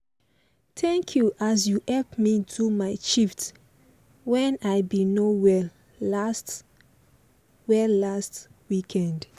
thank you as you help me do my shift when i been no well last well last weekend.